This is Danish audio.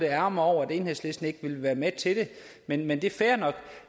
ærgrer mig over at enhedslisten ikke ville være med til det men men det er fair nok